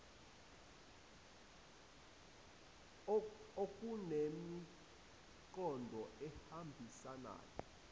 n okunemiqondo ehambisanayo